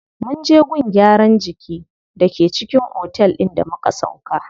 Munje gun gyaran jiki da ke cikin otel din da muka sauƙa.